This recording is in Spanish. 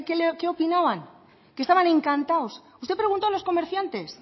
qué opinaban que estaban encantados usted preguntó a los comerciantes